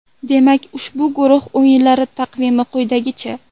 Demak ushbu guruh o‘yinlari taqvimi quyidagicha.